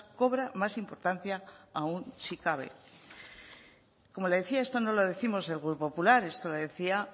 cobra más importancia aún si cabe como le decía esto no lo décimos desde el grupo popular esto lo decía